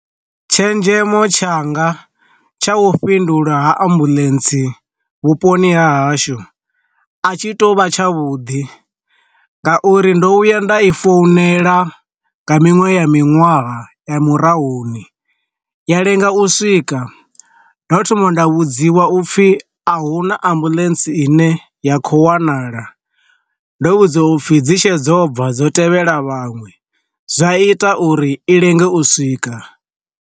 Tshenzhemo tshanga tsha hu fhindulwa ha ambuḽentse vhuponi ha hashu a tshi to vha tsha vhuḓi, nga uri ndo vhuya nda i founela nga miṅwe ya miṅwaha ya murahuni, ya lenga u swika ndo thoma nda vhudziwa upfi ahuna ambuḽentsi ine ya kho wanala ndo vhudzwa upfhi dzi tshe dzo bva dzo tevhela vhaṅwe, zwa ita uri i lenge u swika.